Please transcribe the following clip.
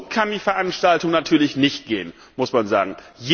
So kann die Veranstaltung natürlich nicht gehen, muss man sagen.